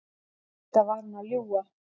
Auðvitað var hún að ljúga.